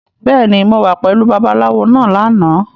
Bẹ́ẹ̀ni, mo wà pẹ̀lú Babaláwo náà lánàá.